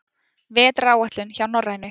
Vetraráætlun hjá Norrænu